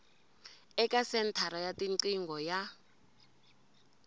eka senthara ya tiqingho ya